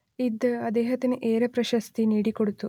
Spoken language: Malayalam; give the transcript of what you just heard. ഇത് അദ്ദേഹത്തിന് ഏറെ പ്രശസ്തി നേടിക്കൊടുത്തു